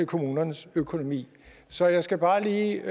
kommunernes økonomi så jeg skal bare lige